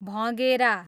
भँगेरा